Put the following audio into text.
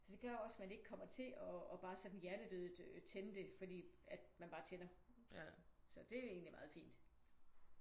Så det gør også at man ikke kommer til og pg bare sådan hjernedødt tænde det fordi at man bare tænder. Så det er egentlig meget fint